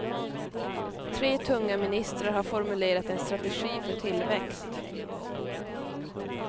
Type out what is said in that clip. Tre tunga minstrar har formulerat en strategi för tillväxt.